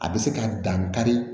A bɛ se ka dan kari